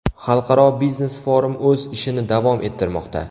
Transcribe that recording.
Xalqaro biznes-forum o‘z ishini davom ettirmoqda.